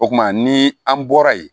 O kuma ni an bɔra yen